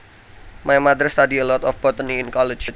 My mother study a lot of botany in college